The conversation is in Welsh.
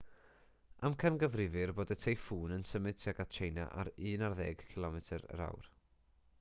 amcangyfrifir bod y teiffŵn yn symud tuag at tsieina ar un ar ddeg kph